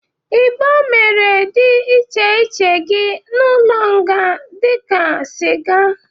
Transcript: Igbo mere dị iche iche gị n'ụlọnga dị ka sịga.